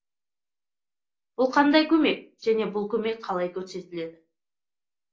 бұл қандай көмек және бұл көмек қалай көрсетіледі